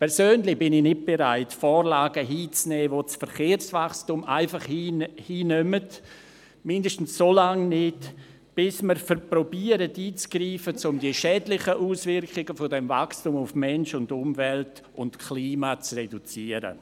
Persönlich bin ich nicht bereit, Vorlagen hinzunehmen, die das Verkehrswachstum einfach hinnehmen, zumindest solange nicht, bis wir einzugreifen versuchen, um die schädlichen Auswirkungen dieses Wachstums auf Mensch, Umwelt und Klima zu reduzieren.